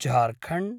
Jharkhand